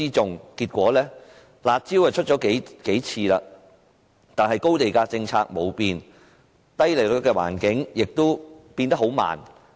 雖然政府多次推出"辣招"，但高地價政策卻沒有改變，低利率的環境亦改變得很慢。